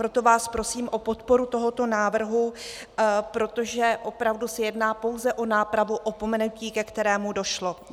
Proto vás prosím o podporu tohoto návrhu, protože opravdu se jedná pouze o nápravu opomenutí, ke kterému došlo.